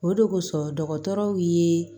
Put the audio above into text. O de kosɔn dɔgɔtɔrɔw ye